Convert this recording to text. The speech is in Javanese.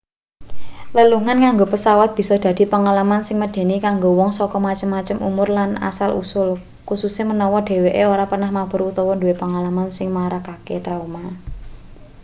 lelungan nganggo pesawat bisa dadi pengalaman sing medeni kanggo wong saka macem-macem umur lan asal usul kususe menawa dheweke ora pernah mabur utawa nduwe pengalaman sing marakake trauma